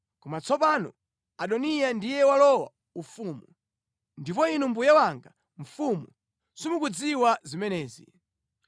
Koma tsopano Adoniya ndiye walowa ufumu, ndipo inu mbuye wanga mfumu, simukuzidziwa zimenezi.